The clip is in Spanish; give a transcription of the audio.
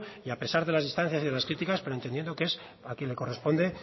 que a pesar de las distancias y de las críticas pero entendiendo que es a quien le corresponde